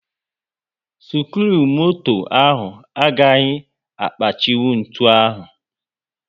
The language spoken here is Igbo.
skiruumoto ahụ agaghị akpachinwu ntụ ahụ